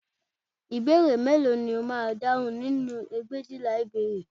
Ìbéèrè mélòó ni o máa dáhùn nínú ẹgbẹ̀éjìlá ìbéèrè